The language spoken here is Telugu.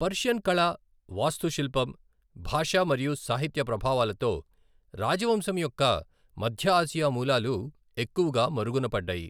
పర్షియన్ కళ, వాస్తుశిల్పం, భాష మరియు సాహిత్య ప్రభావాలతో రాజవంశం యొక్క మధ్య ఆసియా మూలాలు ఎక్కువగా మరుగున పడ్డాయి.